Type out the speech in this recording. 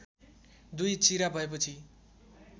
दुई चिरा भएपछि